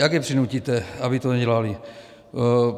Jak je přinutíte, aby to nedělali?